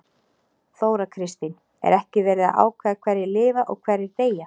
Þóra Kristín: Er ekki verið að ákveða hverjir lifa og hverjir deyja?